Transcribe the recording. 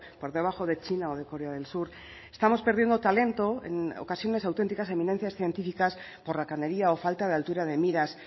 por debajo de china o de corea del sur estamos perdiendo talento en ocasiones auténticas eminencias científicas por racanería o falta de altura de miras